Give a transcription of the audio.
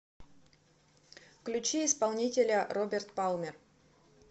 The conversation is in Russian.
включи исполнителя роберт палмер